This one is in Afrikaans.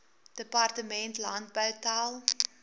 departement landbou tel